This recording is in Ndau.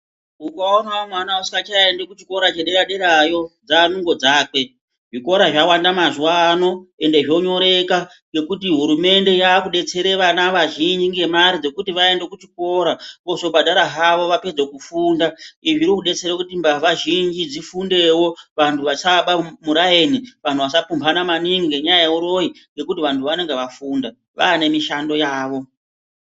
Ukaonawo mwana usingachaendi kuchikora chederadera dzanungo dzake. Zvikora zvawanda mazuwano ende zvonyoreka ngekuti hurumende yakudetsere vana vazhinji ngemare dzekuti vaende kuchikora vozobhadhara havo vapedze kufunda. Izvi zvirikudetsera kuti mbavha zhinji dzifundewo vantu vasaba muraini, vantu vasapumbana maningi ngenyaya yeuroyi ngenyaya yekuti vantu vanenge vafunda vane mishando yavo.